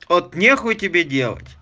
от не хуй тебе делать